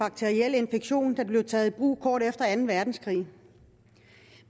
bakterielle infektioner da det blev taget i brug kort efter anden verdenskrig